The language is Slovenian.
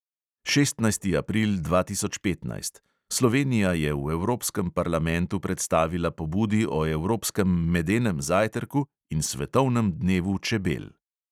Šestnajsti april dva tisoč petnajst – slovenija je v evropskem parlamentu predstavila pobudi o evropskem medenem zajtrku in svetovnem dnevu čebel.